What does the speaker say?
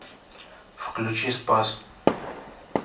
включи спас